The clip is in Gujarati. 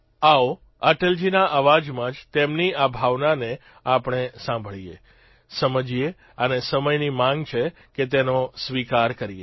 આવો અટલજીના અવાજમાં જ તેમની આ ભાવનાને આપણે સાંભળીએ સમજીએ અને સમયની માંગ છે કે તેનો સ્વીકાર કરીએ